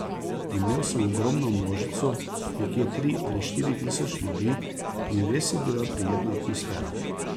Imel sem ogromno množico, nekje tri ali štiri tisoč ljudi in res je bila prijetna atmosfera.